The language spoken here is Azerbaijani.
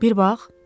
Bir bax!